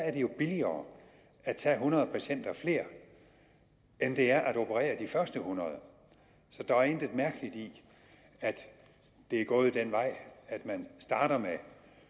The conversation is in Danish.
er det jo billigere at tage hundrede patienter flere end det er at operere de første hundrede så der er intet mærkeligt i at det er gået den vej at man starter med